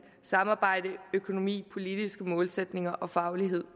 samarbejde økonomi politiske målsætninger og faglighed